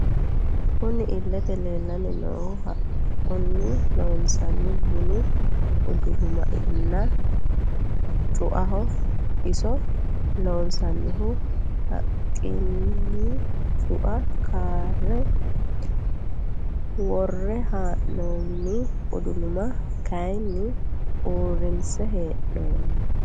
Kunni illete leelani noohu haqquni loonsonni bunu uduluma nna cu'aaho iso loonsonihu haqquniti cu'a karre worre heenonni uduluma kayiini uurinse heenonni.